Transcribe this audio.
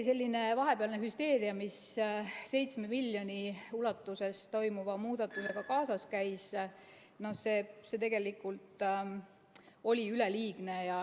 See vahepealne hüsteeria, mis 7 miljoni ulatuses toimuva muudatusega kaasas käis, oli tegelikult üleliigne.